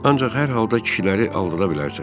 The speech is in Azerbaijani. Ancaq hər halda kişiləri aldada bilərsən.